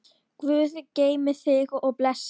Guð geymi þig og blessi.